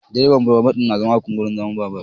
Direban babur na zama akan wurin zama